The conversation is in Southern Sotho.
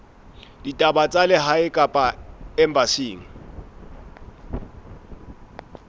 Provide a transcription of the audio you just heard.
ditaba tsa lehae kapa embasing